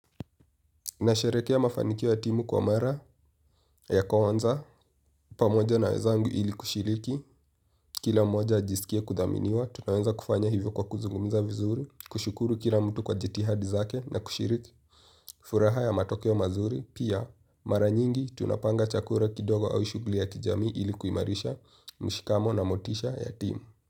Nasherehekea mafanikio ya timu kwa mara ya kwanza, pamoja na wenzangu ili kushiriki, kila mmoja ajisikie kudhaminiwa, tunaweza kufanya hivyo kwa kuzungumza vizuri, kushukuru kila mtu kwa jitihadi zake na kushiriki, furaha ya matokeo mazuri, pia mara nyingi tunapanga chakula kidogo au shughuli ya kijamii ili kuimarisha, mshikamo na motisha ya timu.